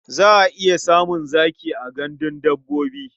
Za a iya samun zaki a gandun dabbobi.